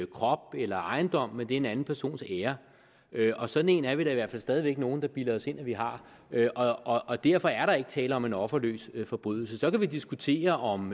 krop eller ejendom men det er en anden persons ære og sådan en er vi da i hvert fald stadig væk nogle der bilder os ind at vi har og derfor er der ikke tale om en offerløs forbrydelse så kan vi diskutere om